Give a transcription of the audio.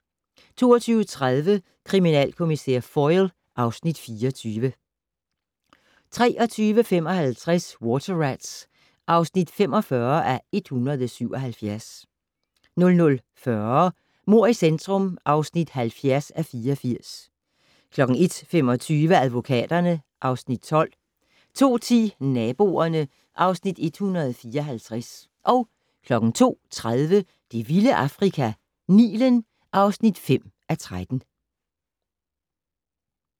22:30: Kriminalkommissær Foyle (Afs. 24) 23:55: Water Rats (45:177) 00:40: Mord i centrum (70:84) 01:25: Advokaterne (Afs. 12) 02:10: Naboerne (Afs. 154) 02:30: Det vilde Afrika - Nilen (5:13)